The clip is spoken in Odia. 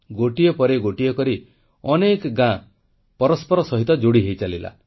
ଗୋଟିଏ ପରେ ଗୋଟିଏ କରି ଅନେକ ଗାଁ ପରସ୍ପର ସହ ଯୋଡ଼ି ହୋଇଚାଲିଲା